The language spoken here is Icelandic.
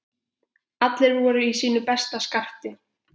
Allir voru í sínu besta skarti.